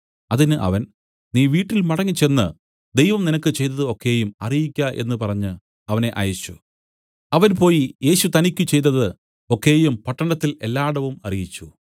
അതിന് അവൻ നീ വീട്ടിൽ മടങ്ങിച്ചെന്നു ദൈവം നിനക്ക് ചെയ്തതു ഒക്കെയും അറിയിക്ക എന്നു പറഞ്ഞു അവനെ അയച്ചു അവൻ പോയി യേശു തനിക്കു ചെയ്തതു ഒക്കെയും പട്ടണത്തിൽ എല്ലാടവും അറിയിച്ചു